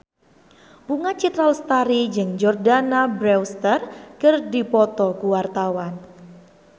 Bunga Citra Lestari jeung Jordana Brewster keur dipoto ku wartawan